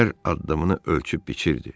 Hər addımını ölçüb biçirdi.